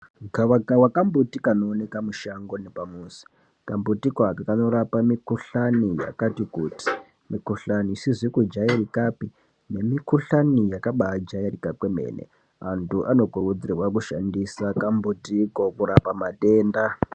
Gavakava kambuti kanooneka mushango nepamuzi. Kambutiko aka kanorapa mikhuhlani yakati kuti , mikhuhlani isizi kujairikapi nemikhuhlani yakabaajairika kwemene. Antu anokurudzirwa kushandisa kambutiko kurapa matenda.